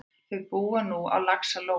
Þau búa nú á Laxalóni.